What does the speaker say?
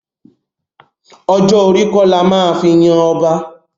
Ọjọ́ orí kọ́ la máa fi yan ọba.